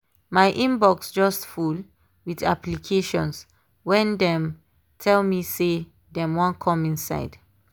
my inbox just full with applications wen dem tell me say dem wan come inside